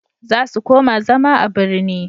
za su koma zama a birni